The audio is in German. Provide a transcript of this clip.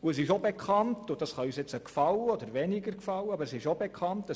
Es ist auch bekannt – und das kann uns mehr oder weniger gefallen –, dass